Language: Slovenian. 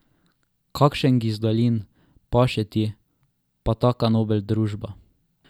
Kakšen gizdalin, paše ti, pa taka nobel družba.